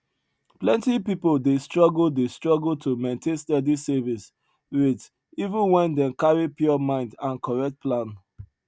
plenty people dey struggle dey struggle to maintain steady savings rate even wen dem carry pure mind and correct plan